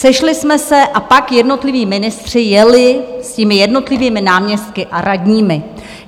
Sešli jsme se a pak jednotliví ministři jeli s těmi jednotlivými náměstky a radními.